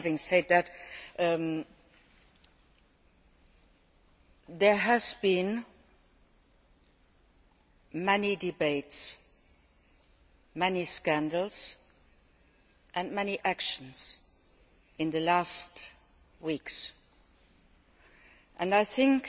Having said that, there have been many debates, many scandals and many actions in the last weeks, and I think